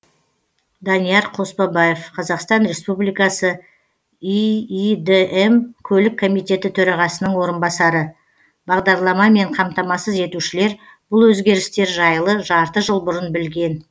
данияр қоспабаев қазақстан республикасы иидм көлік комитеті төрағасының орынбасары бағдарламамен қамтамасыз етушілер бұл өзгерістер жайлы жарты жыл бұрын білген